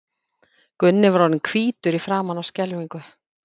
Gunni var orðinn hvítur í framan af skelfingu.